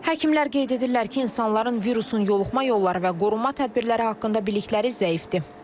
Həkimlər qeyd edirlər ki, insanların virusun yoluxma yolları və qorunma tədbirləri haqqında bilikləri zəifdir.